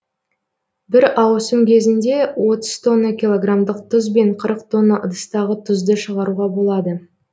бір ауысым кезінде отыз тонна килограмдық тұз бен қырық тонна ыдыстағы тұзды шығаруға болады